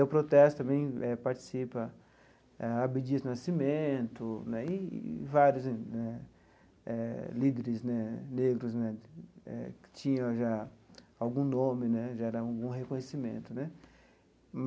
O protesto também eh participa eh Abdias Nascimento né e e vários né eh líderes né negros né eh que já tinham algum nome né, já era algum reconhecimento né.